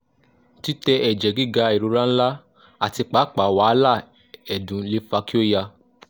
titẹ ẹjẹ giga irora nla ati paapaa wahala ẹdun le fa ki o ya